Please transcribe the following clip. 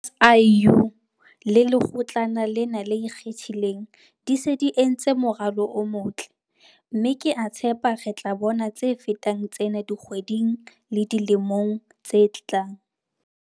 SIU le Lekgotlana lena le Ikgethileng di se di entse moralo o motle, mme ke a tshepa re tla bona tse fetang tsena dikgweding le dilemong tse tlang.